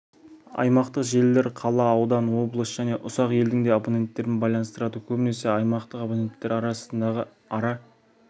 аймақтық желілер қала аудан облыс және ұсақ елдің де абоненттерін байланыстырады көбінесе аймақтық абоненттері арасындағы ара